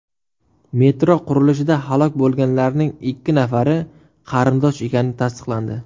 Metro qurilishida halok bo‘lganlarning ikki nafari qarindosh ekani tasdiqlandi.